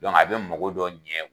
a bɛ mago dɔn ɲɛ